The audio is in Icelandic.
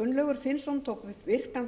gunnlaugur finnsson tók virkan